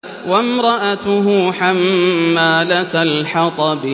وَامْرَأَتُهُ حَمَّالَةَ الْحَطَبِ